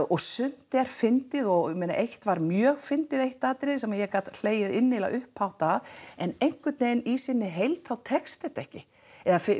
og sumt var fyndið og eitt var mjög fyndið eitt atriði sem ég gat hlegið innilega upphátt að en einhvern veginn í sinni heild þá tekst þetta ekki eða